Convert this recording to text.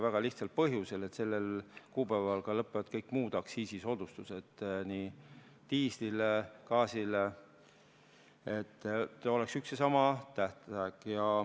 Väga lihtsal põhjusel: sellel kuupäeval lõpevad ka kõik muud aktsiisisoodustused, nii diislil kui ka gaasil, ja et oleks üks ja sama tähtaeg.